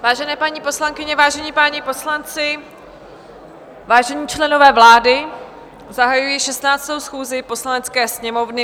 Vážené paní poslankyně, vážení páni poslanci, vážení členové vlády, zahajuji 16. schůzi Poslanecké sněmovny.